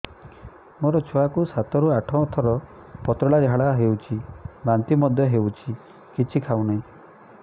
ମୋ ଛୁଆ କୁ ସାତ ରୁ ଆଠ ଥର ପତଳା ଝାଡା ହେଉଛି ବାନ୍ତି ମଧ୍ୟ୍ୟ ହେଉଛି କିଛି ଖାଉ ନାହିଁ